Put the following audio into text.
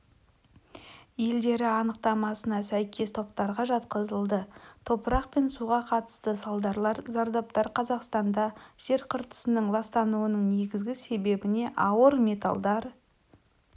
елдер анықтамасына сәйкес топтарға жатқызылды топырақ пен суға қатысты салдарлар зардаптар қазақстанда жер қыртыстарының ластануының негізгі себебіне ауыр металлдар